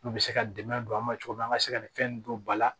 N'u bɛ se ka dɛmɛ don an ma cogo min na an ka se ka nin fɛn in don ba la